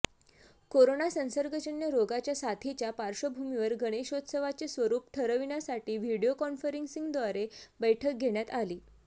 corona संसर्गजन्य रोगाच्या साथीच्या पार्श्वभूमीवर गणेशोत्सवाचे स्वरूप ठरविण्यासाठी व्हीडीओ कॉन्फरन्सिंगद्वारे बैठक घेण्यात आली